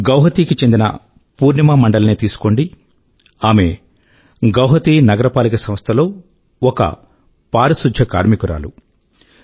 గువాహాటీ కు చెందిన పూర్ణిమా మండల్ నే తీసుకోండి ఆమె గువాహాటీ నగరపాలిక సంస్థలో ఒక పారిశుధ్య కార్మికురాలు స్వీపర్